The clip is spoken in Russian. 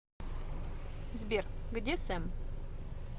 сбер где сэм